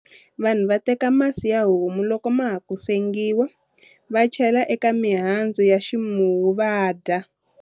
Vanhu va teka masi ya homu loko ma ha ku sengiwa, va chela eka mihandzu ya ximuwu va dya.